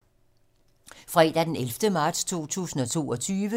Fredag d. 11. marts 2022